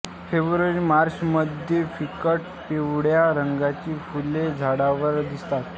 February मार्चमध्ये फिकट पिवळ्या रंगाची फुले झाडावर दिसतात